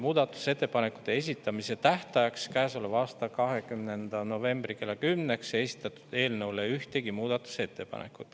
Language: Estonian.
Muudatusettepanekute esitamise tähtajaks, käesoleva aasta 20. novembri kella 10-ks ei esitatud eelnõu kohta ühtegi muudatusettepanekut.